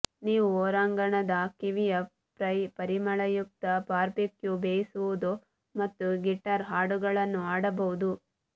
ನೀವು ಹೊರಾಂಗಣದ ಕಿವಿಯ ಫ್ರೈ ಪರಿಮಳಯುಕ್ತ ಬಾರ್ಬೆಕ್ಯೂ ಬೇಯಿಸುವುದು ಮತ್ತು ಗಿಟಾರ್ ಹಾಡುಗಳನ್ನು ಹಾಡಬಹುದು